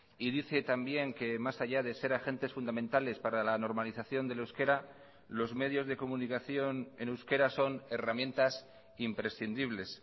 y dice también que más allá de ser agentes fundamentales para la normalización del euskera los medios de comunicación en euskera son herramientas imprescindibles